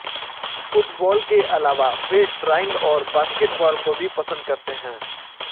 football के अलावा वे ड्राइंग और बास्केटबॉल को भी पसंद करते हैं